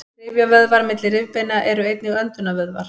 rifjavöðvar milli rifbeina eru einnig öndunarvöðvar